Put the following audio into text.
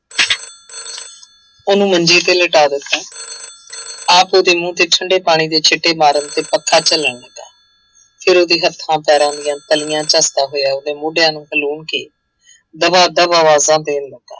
ਉਹਨੂੰ ਮੰਜੀ ਤੇ ਲਿਟਾ ਦਿੱਤਾ ਆਪ ਉਹਦੇ ਮੂੰਹ ਤੇ ਠੰਢੇ ਪਾਣੀ ਦੇ ਸਿੱਟੇ ਮਾਰਨ ਤੇ ਪੱਖਾ ਝੱਲਣ ਲੱਗਾ, ਫਿਰ ਉਹਦੇ ਹੱਥਾਂ ਪੈਰਾਂ ਦੀਆਂ ਤਲੀਆਂ ਝੱਸਦਾ ਹੋਇਆ ਉਹਦੇ ਮੋਢਿਆਂ ਨੂੰ ਹਲੂਣ ਕੇ ਦਬਾ ਦਬ ਆਵਾਜ਼ਾਂ ਦੇਣ ਲੱਗਾ।